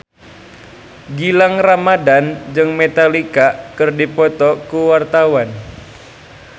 Gilang Ramadan jeung Metallica keur dipoto ku wartawan